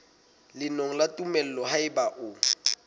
lengolo la tumello haeba o